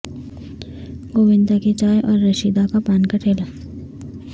گووندا کی چائے اور رشیدا کا پان کا ٹھلا